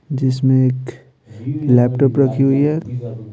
जिसमें एक लैपटॉप रखी हुई है।